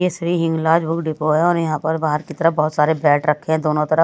ये Shri Hinglaj book depot है और यहां पर बाहर की तरफ बहुत सारे बैट रखे हैं दोनों तरफ।